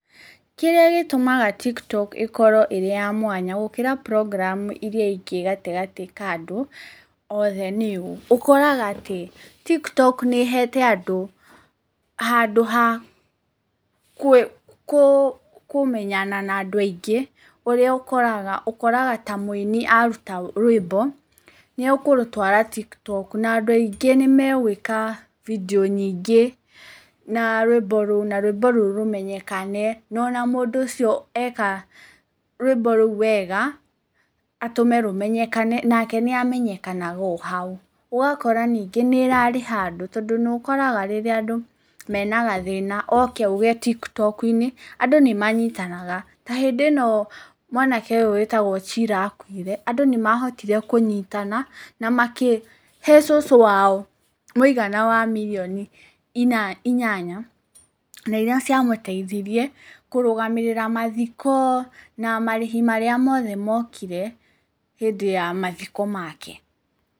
Kĩrĩa gĩtũmaga TikTok ĩkorwo ĩrĩ ya mwanya gũkĩra programm iria ingĩ gatagatĩ ka andũ othe nĩ ũũ, ũkoraga atĩ TikTok nĩ ĩhete andũ handũ ha kũmenyana na andũ aingĩ, ũrĩa ũkoraga, ũkoraga ta mũini aruta rwĩmbo, nĩekũrũtwara TikTok na andũ aingĩ nĩmegwĩka video nyingĩ na rwĩmbo rũu, na rwĩmbio rũu rũmenyekane, na ona mũndũ ũcio eka rwĩmbo rũu wega, atũme rũmenyekane, nake nĩamenyekanaga ohau. ũgakora ningĩ nĩ ĩrarĩha andũ, tondũ nĩũkoraga rĩrĩa andũ mena gathĩna, oke auge TikToku-inĩ, andũ nĩmanyitanaga, ta hĩndĩ ĩno mwanake ũyũ wĩtagwo cira akuire, andũ nĩmahotire kũnyitana, na makĩhe cũcũ wao mũigana wa mirioni inyanya, na iria ciamũtaithirie kũrũgamĩrĩra mathiko na marĩhi marĩa mothe mokire hĩndĩ ya mathiko make.